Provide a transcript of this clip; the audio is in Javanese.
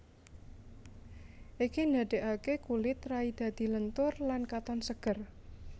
Iki ndadekake kulit rai dadi lentur lan katon seger